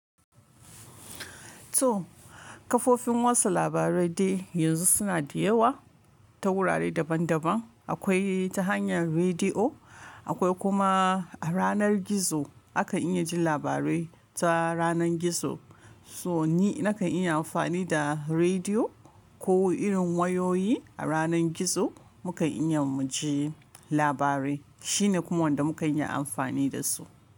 To, kafofin watsa labarai dai yanzu suna da yawa ta wurare daban daban. Akwai ta hanyar rediyo, akwai kuma a yanar gizo akan iya jin labarai ta yanar gizo. So ni nakan iya amfani da rediyo ko irin wayoyi a yanar gizo mukan iya mu ji labarai. Shine kuma wanda muka iya amfani da su.